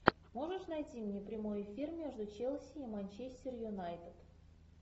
можешь найти мне прямой эфир между челси и манчестер юнайтед